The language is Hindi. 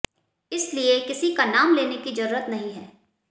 इसलिए किसी का नाम लेने की जरूरत नहीं है